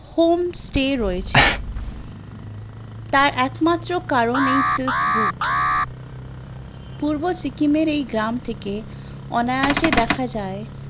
home stay রয়েছে তার একমাত্র কারণ এই silk route পূর্ব সিকিমের এই গ্রাম থেকে অনায়াশে দেখা যায়